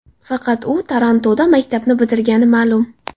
Faqat u Torontoda maktabni bitirgani ma’lum.